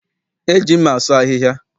E ji mma asụ ahịhịa.